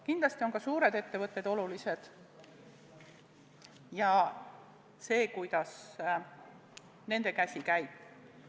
Kindlasti on ka suured ettevõtted olulised ja see, kuidas nende käsi käib.